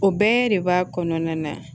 O bɛɛ de b'a kɔnɔna na